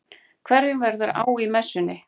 Einhverjum verður á í messunni